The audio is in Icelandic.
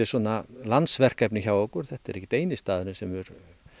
landsverkefni hjá okkur þetta er ekki eini staðurinn sem hefur